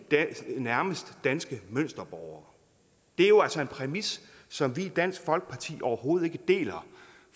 nærmest danske mønsterborgere det er jo altså en præmis som vi i dansk folkeparti overhovedet ikke deler